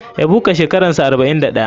Ebuka shekaransa 41.